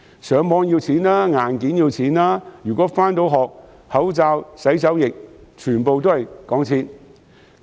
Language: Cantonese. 上網要錢、硬件要錢；如果能夠上學，口罩、洗手液全部都要錢。